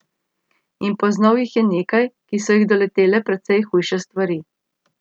In poznal jih je nekaj, ki so jih doletele precej hujše stvari.